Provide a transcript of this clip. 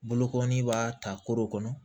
Bolokɔnin b'a ta koro kɔnɔ